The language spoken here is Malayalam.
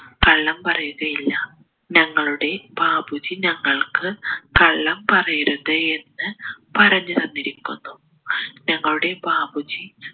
കള്ളംപറയുകയില്ല ഞങ്ങളുടെ ബാപ്പുജി ഞങ്ങൾക്ക് കള്ളം പറയരുത് എന്ന് പറഞ്ഞ് തന്നിരിക്കുന്നു ഞങ്ങളുടെ ബാപ്പുജി